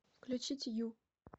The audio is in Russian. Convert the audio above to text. включить ю